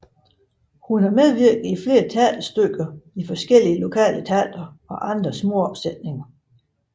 Hun medvirkede i flere teaterstykker i forskellige lokale teatre og andre småopsætninger